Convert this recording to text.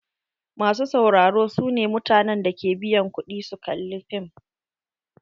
Masu sauraro su ne mutanen da ke biyan ƙudi su kalla fim.